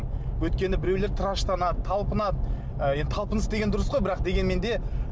өйткені біреулер тыраштанады талпынады ы енді талпыныс деген дұрыс қой бірақ дегенмен де